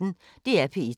DR P1